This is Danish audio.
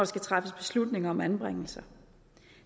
skal træffes beslutninger om anbringelse